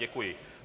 Děkuji.